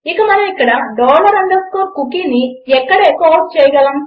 ఇక మనం ఇక్కడ డాలర్ అండర్స్కోర్ cookieని ఇక్కడ ఎఖో ఔట్ చేయగలము